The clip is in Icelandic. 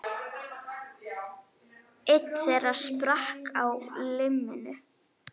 Einn þeirra sprakk á limminu